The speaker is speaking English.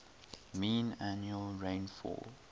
mean annual rainfall